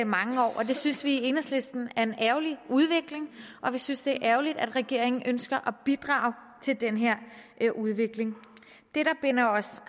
mange år det synes vi i enhedslisten er en ærgerlig udvikling og vi synes det er ærgerligt at regeringen ønsker at bidrage til den her udvikling det der binder os